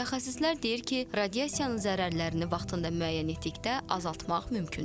Mütəxəssislər deyir ki, radiasiyanın zərərlərini vaxtında müəyyən etdikdə azaltmaq mümkündür.